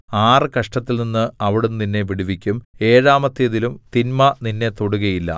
ആറ് കഷ്ടത്തിൽനിന്ന് അവിടുന്ന് നിന്നെ വിടുവിക്കും ഏഴാമത്തേതിലും തിന്മ നിന്നെ തൊടുകയില്ല